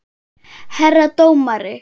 Herra dómari!